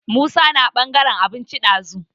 Musa na ɓangaran abinci ɗazu.